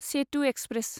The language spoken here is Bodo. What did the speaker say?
सेतु एक्सप्रेस